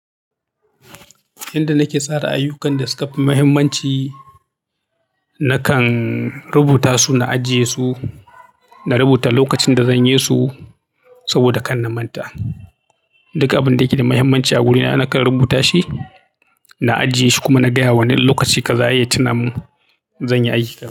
Inda nake tsara ayyukan da suka fi mahimmanci, nakan rubuta su na ajiye su, na rubuta lokacin da zan yi su saboda kan na manta. Duka abin da yake da mahimmanci a wurina nakan rubuta shi, na ajiye shi kuma na gaya wanne lokaci kaza ya yi ya tunamin zan yi aiki.